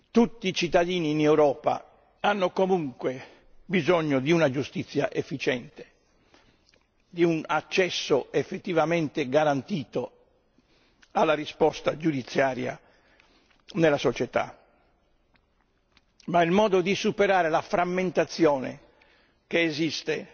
Tutti i cittadini in Europa hanno comunque bisogno di una giustizia efficiente, di un accesso effettivamente garantito alla risposta giudiziaria nella società, ma il modo di superare la frammentazione che esiste